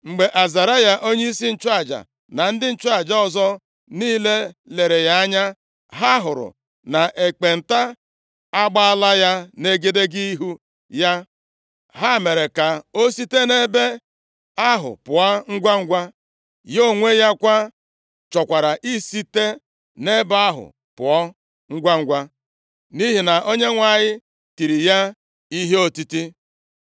Mgbe Azaraya onyeisi nchụaja, na ndị nchụaja ọzọ niile lere ya anya, ha hụrụ na ekpenta agbaala ya nʼegedege ihu ya, ha mere ka ọ site nʼebe ahụ pụọ ngwangwa. Ya onwe ya kwa chọkwara isite nʼebe ahụ pụọ ngwangwa, nʼihi na Onyenwe anyị tiri ya ihe otiti.